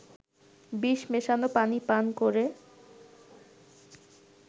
বিষ মেশানো পানি পান করে